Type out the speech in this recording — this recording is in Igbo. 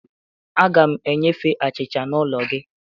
Aga m enyefe achịcha n'ụlọ gị